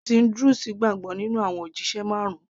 ẹ̀sìn druze gbàgbọ́ nínú àwọn òjíṣẹ marun